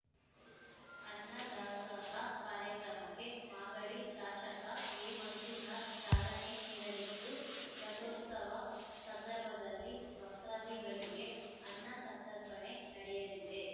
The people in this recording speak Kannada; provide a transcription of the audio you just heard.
ಅನ್ನದಾಸೋಹ ಕಾರ್ಯಕ್ರಮಕ್ಕೆ ಮಾಗಡಿ ಶಾಷಕ ಎಮಂಜುನಾಥ್ ಚಾಲನೆ ನೀಡಲಿದ್ದು ರಥೋತ್ಸವ ಸಂದರ್ಭದಲ್ಲಿ ಭಕ್ತಾದಿಗಳಿಗೆ ಅನ್ನಸಂತರ್ಪಣೆ ನಡೆಯಲಿದೆ